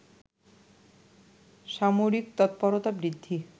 সামরিক তৎপরতা বৃদ্ধি